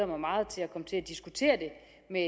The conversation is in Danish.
mig meget til at komme til at diskutere det med